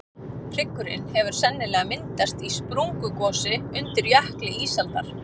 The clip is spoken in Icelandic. hryggurinn hefur sennilega myndast í sprungugosi undir jökli ísaldar